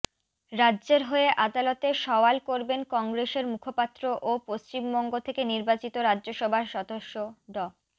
রাজ্যের হয়ে আদালতে সওয়াল করবেন কংগ্রেসের মুখপাত্র ও পশ্চিমবঙ্গ থেকে নির্বাচিত রাজ্যসভার সদস্য ড